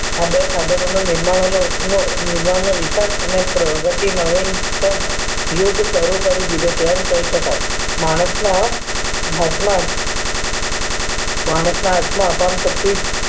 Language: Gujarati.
આ બે સાધનો નો વિજ્ઞાન નો વિજ્ઞાન નો વિકાસ અને પ્રગતિ નવીનતમ શરુ કરી દીધો છે એમ કહી શકાય માણસ ના હાથ માં જ માણસ ના હાથ માં જ શક્તિ